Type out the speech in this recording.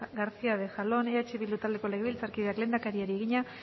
garcía de jalón eh bildu taldeko legebiltzarkideak lehendakariari egina